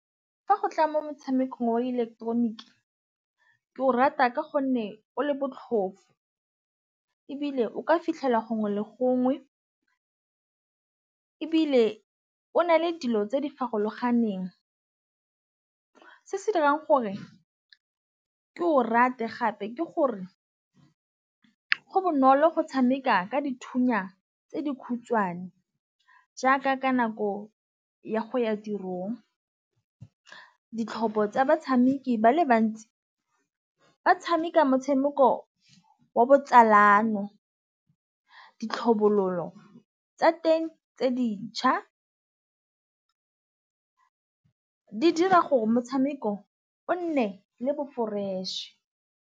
Fa go tla mo motšhamekong wa ileketeroniki ke o rata ka gonne o le botlhofo, ebile o ka fitlhela gongwe le gongwe ebile o na le dilo tse di farologaneng. Se se dirang gore ke o rate gape ke gore go bonolo go tšhameka ka dithunya tse dikhutšhwane jaaka ka nako ya go ya tirong ka ditlhopho tsa batšhameki ba le bantsi ba tšhameka motšhameko wa botsalano. Ditlhabololo tsa teng tse dintšha di dira gore motšhameko o nne le bo-fresh.